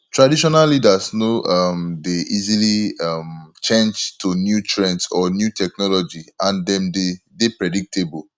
traditional leaders no um dey easily um change to new trends or new technology and dem de dey predictable